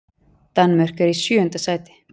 Danmörk er í sjöunda sæti.